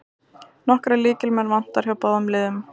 Nokkra lykilmenn vantar hjá báðum liðum